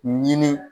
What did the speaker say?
Ɲini